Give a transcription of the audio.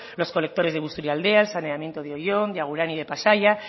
los colectores de busturialdea el saneamiento de oion de agurain y de pasaia